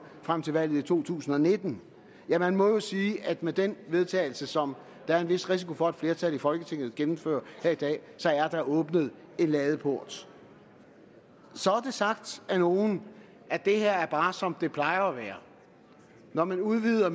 frem til valget i 2019 ja man må jo sige at med den vedtagelse som der er en vis risiko for at et flertal i folketinget gennemfører her i dag er der åbnet en ladeport så er det sagt af nogle at det her bare er som det plejer at være når man udvider